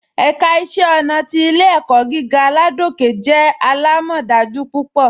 Ẹ̀ká iṣẹ̀ ọ̀nà ni Ilẹ̀-ẹ̀kọ̀ gígà Ládòkè jẹ́ alámọdájú púpọ.